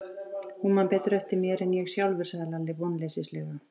Hún man betur eftir mér en ég sjálfur, sagði Lalli vonleysislega.